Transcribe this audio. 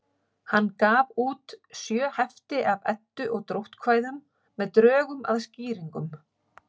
Hann gaf út sjö hefti af Eddu- og dróttkvæðum með drögum að skýringum.